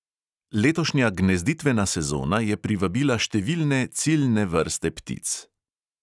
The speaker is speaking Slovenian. Letošnja gnezditvena sezona je privabila številne ciljne vrste ptic.